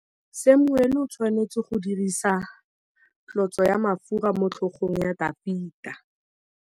Samuele o tshwanetse go dirisa tlotsô ya mafura motlhôgong ya Dafita.